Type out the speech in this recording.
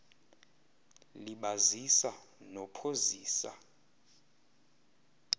libazisa no phozisa